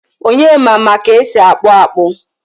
Onyema ma ka esi akpu akpu